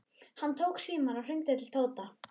Hann tók símann og hringdi til Tóta.